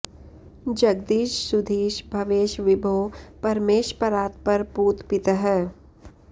जगदीश सुधीश भवेश विभो परमेश परात्पर पूत पितः